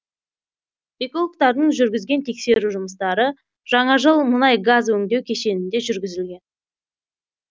экологтордаң жүргізген тексеру жұмыстары жаңажол мұнай газ өңдеу кешенінде жүргізілген